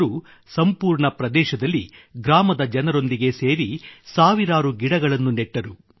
ಅವರು ಸಂಪೂರ್ಣ ಪ್ರದೇಶದಲ್ಲಿ ಗ್ರಾಮದ ಜನರೊಂದಿಗೆ ಸೇರಿ ಸಾವಿರಾರು ಗಿಡಗಳನ್ನು ನೆಟ್ಟರು